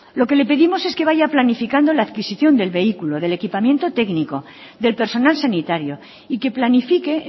lo que le pedimos es que vaya planificando la adquisición del vehículo del equipamiento técnico del personal sanitario y que planifique